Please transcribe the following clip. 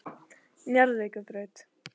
Njarðvíkurbraut